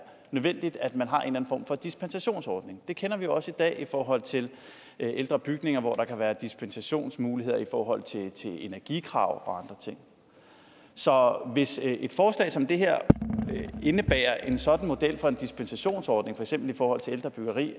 nødvendigt at man har en eller anden form for dispensationsordning det kender vi jo også i dag i forhold til ældre bygninger hvor der kan være dispensationsmuligheder i forhold til energikrav og andre ting så hvis et forslag som det her indebærer en sådan model for en dispensationsordning for eksempel i forhold til ældre byggeri